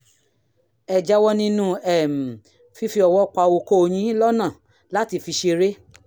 ẹ jáwọ́ nínú um fífi ọwọ́ pa okó yín lọ́nà láti fi ṣeré